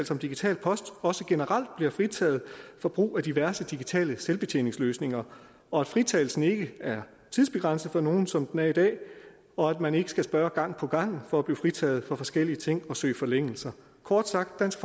fra digital post også generelt bliver fritaget for brug af diverse digitale selvbetjeningsløsninger og at fritagelsen ikke er tidsbegrænset for nogle som den er i dag og at man ikke skal spørge gang på gang for at blive fritaget fra forskellige ting og søge forlængelser kort sagt dansk